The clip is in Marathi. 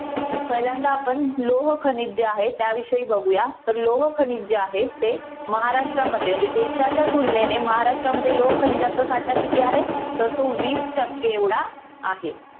पहिल्यांदा आपण लोहखनिज जे आहे त्याविषयी बघूया. तर लोहखनिज जे आहे ते महाराष्ट्रामध्ये म्हणजे देशाच्या तुलनेने महाराष्ट्रामध्ये लोहखनिज्याचा साठा किती आहे? तर तो वीस टक्के एवढा आहे.